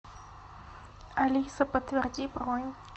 алиса подтверди бронь